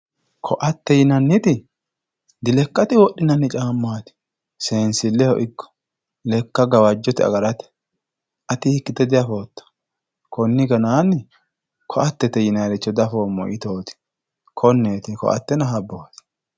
Koatte yinanniti dilekkate wodhinanni caamati seensileho ikko lekka gawajote agarate ati hiikkite diafotto koni ganani koattete yinannire diafoommo yittoti ,konneti koattenna habboti.